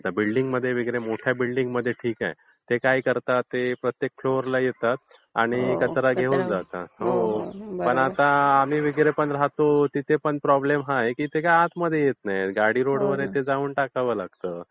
बिल्डिंगमध्ये वगैरे मोठ्या बिल्डिंगमध्ये ठीक आहे. ते काय करतात? ते प्रत्येक फ्लोरला येतात आणि कचरा घेऊन जातात. पण आम्ही राहतो तिथे प्रॉब्लेम हा आहे की तिथे आतमध्ये येत नाहीत. गाडी रोडवर येते तिथे जाऊन टाकावा लागतो.